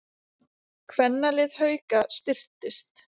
Kvennalið Hauka styrkist